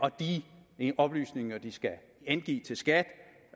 at de oplysninger de skal angive til skat